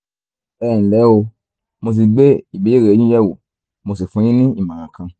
ẹ nlẹ́ o mo ti gbé ìbéèrè yín yẹ̀wò mo sì fún yín ní ìmọ̀ràn kan